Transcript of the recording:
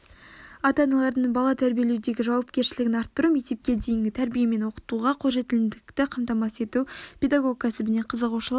ата-аналардың бала тәрбиелеудегі жауапкершілігін арттыру мектепке дейінгі тәрбие мен оқытуға қолжетімділікті қамтамасыз ету педагог кәсібіне қызығушылық